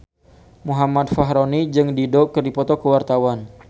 Muhammad Fachroni jeung Dido keur dipoto ku wartawan